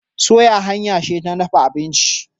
soya hanya ce ta dafa abinci